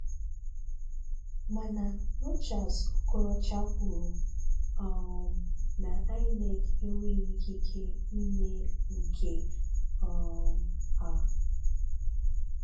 Mana Rochas Okoroocha kwuru um na INEC enweghi ikike ime nke um a.